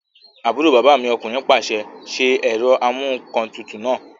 Àbúrò bàbá mi ọkùnrin pàṣẹ, "ṣe ẹ̀rọamúǹkantutù náà!"